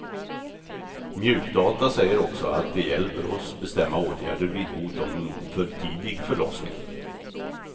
Mjukdata säger också att det hjälper oss bestämma åtgärder vid hot om för tidig förlossning.